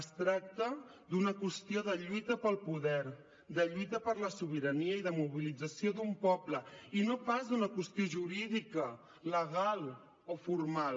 es tracta d’una qüestió de lluita pel poder de lluita per la sobirania i de mobilització d’un poble i no pas d’una qüestió jurídica legal o formal